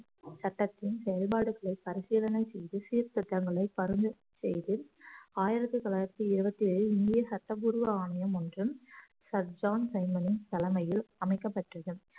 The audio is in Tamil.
சட்டத்தின் செயல்பாடுகளை பரிசீலனை செய்து சீர்திருத்தங்களை பரிந்துரை செய்து ஆயிரத்தி தொள்ளாயிரத்தி இருபத்தி ஏழு இந்திய சட்டபூர்வ ஆணையம் ஒன்றும் சர் ஜான் சைமனின் தலைமையில் அமைக்கப்பட்டது